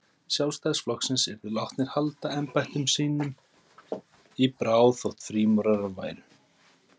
Sjálfstæðisflokksins, yrðu látnir halda embættum sínum í bráð, þótt frímúrarar væru.